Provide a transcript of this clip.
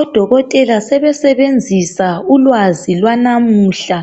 Odokotela sebesebenzisa ulwazi lwanamuhla